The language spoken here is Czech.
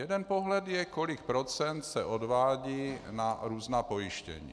Jeden pohled je, kolik procent se odvádí na různá pojištění.